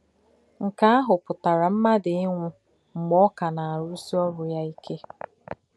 Nkè̄ àhụ̄ pụtarā mmádụ̀ ínwụ̄ m̀gbè̄ ọ̀ kà nā-àrụ̄sí̄ òrù̄ yā íké.